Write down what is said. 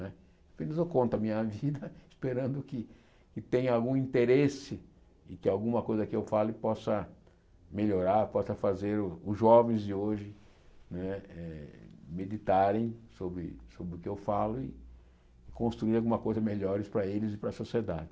Apenas eu conto a minha vida esperando que que tenha algum interesse e que alguma coisa que eu fale possa melhorar, possa fazer o os jovens de hoje né eh meditarem sobre o que eu falo e construir alguma coisa melhor para eles e para a sociedade.